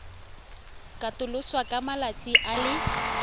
katoloswa ka malatsi a le